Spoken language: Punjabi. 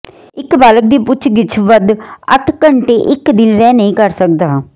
ਇੱਕ ਬਾਲਗ ਦੀ ਪੁੱਛਗਿੱਛ ਵੱਧ ਅੱਠ ਘੰਟੇ ਇੱਕ ਦਿਨ ਰਹਿ ਨਹੀ ਕਰ ਸਕਦਾ ਹੈ